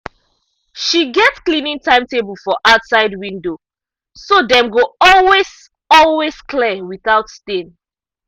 she get cleaning timetable for outside window so dem go always always clear without stain.